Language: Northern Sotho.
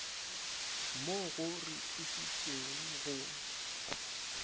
mo go re thušeng go